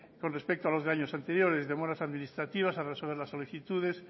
con respecto a los de años anteriores demoras administrativas al resolver las solicitudes